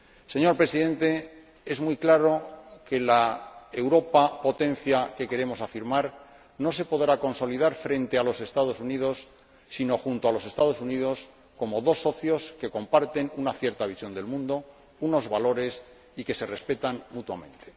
Señor Presidente, está muy claro que la Europa que queremos afirmar como potencia no se podrá consolidar frente a los Estados Unidos, sino junto a los Estados Unidos, como dos socios que comparten una cierta visión del mundo, unos valores y que se respetan mutuamente.